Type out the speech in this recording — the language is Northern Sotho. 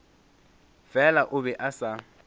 fela o be a sa